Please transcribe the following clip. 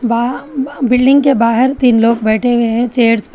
आ ब बिल्डिंग के बाहर तीन लोग बैठे हुए हैं चेयर्स पर।